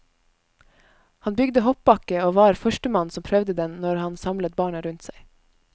Han bygde hoppbakke og var førstemann som prøvde den når han samlet barna rundt seg.